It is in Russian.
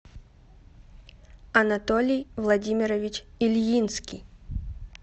анатолий владимирович ильинский